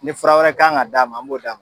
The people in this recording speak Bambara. Ni fura wɛrɛ kan ga d'a ma an b'o d'a ma